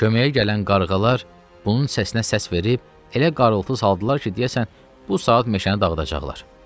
Köməyə gələn qarğalar bunun səsinə səs verib, elə qarıltı saldılar ki, deyəsən bu saat meşəni dağıdacaqlar.